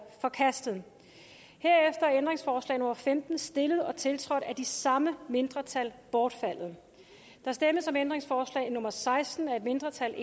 forkastet herefter er ændringsforslag nummer femten stillet og tiltrådt af de samme mindretal bortfaldet der stemmes om ændringsforslag nummer seksten af et mindretal